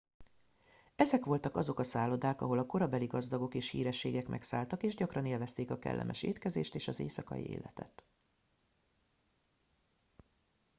ezek voltak azok a szállodák ahol a korabeli gazdagok és hírességek megszálltak és gyakran élvezték a kellemes étkezést és az éjszakai életet